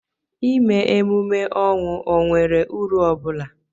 ịme emume ọnwụ ọ nwere uru ọ bụla?